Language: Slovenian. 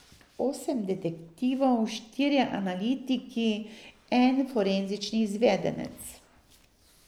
Osem detektivov, štirje analitiki, en forenzični izvedenec.